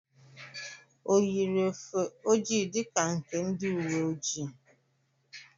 O yiri ofe ojii dịka nke ndị uwe ọjị?